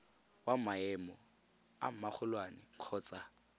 wa maemo a magolwane kgotsa